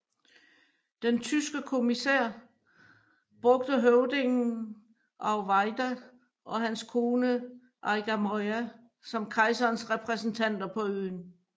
Den tyske kommissionær brugte høvdingen Auweyida og hans kone Eigamoiya som kejserens repræsentanter på øen